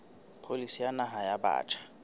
pholisi ya naha ya batjha